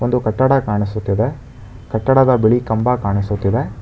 ಒಂದು ಕಟ್ಟಡ ಕಾಣಿಸುತ್ತಿದೆ ಕಟ್ಟಡದ ಬಳಿ ಕಂಬ ಕಾಣಿಸುತ್ತಿದೆ.